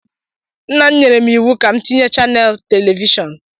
Nna m nyere m iwu ka m tinye chanels telivishọn.